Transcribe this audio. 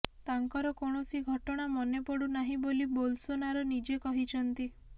ତାଙ୍କର କୌଣସି ଘଟଣା ମନେ ପଡ଼ୁନାହିଁ ବୋଲି ବୋଲ୍ସୋନାରୋ ନିଜେ କହିଛନ୍ତି